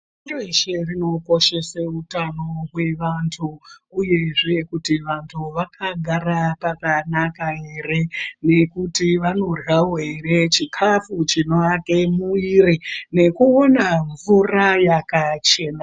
Pashireshe rinokoshese utano hwevantu uyezve kuti vantu vakagara pakanaka ere nekuti vanoryawo here chikafu chinoake mwiri nekuonawo mvura yakachena.